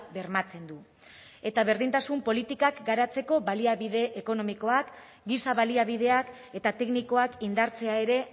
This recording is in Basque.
bermatzen du eta berdintasun politikak garatzeko baliabide ekonomikoak giza baliabideak eta teknikoak indartzea ere